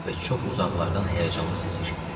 və çox uzaqlardan həyəcanlı səs eşitdim.